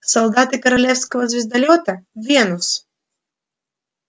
солдаты королевского звездолёта венус